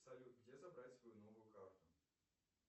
салют где забрать свою новую карту